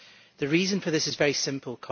The reason for this is very simple.